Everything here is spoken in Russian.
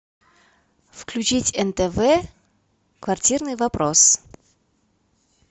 включить нтв квартирный вопрос